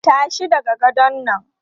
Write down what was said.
Tashi daga gadon nan!